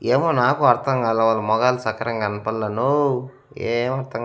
ఏమో నాకు అర్ధంగాలే వాళ్ళ మోగాలు సక్రంగా కనపల్లె న్నో ఏం అర్ధం--